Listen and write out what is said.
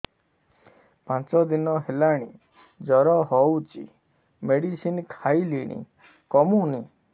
ପାଞ୍ଚ ଦିନ ହେଲାଣି ଜର ହଉଚି ମେଡିସିନ ଖାଇଲିଣି କମୁନି